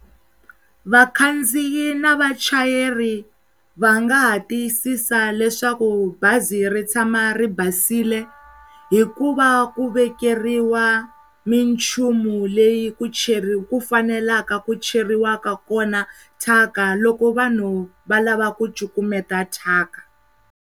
Vakhandziyi na vachayeri va nga ha tiyisisa leswaku bazi ri tshama ri basile hikuva ku vekeriwa minchumu leyi ku cheri, ku faneleka ku cheriwa kona thyaka loko vanhu va lava ku cukumeta thyaka.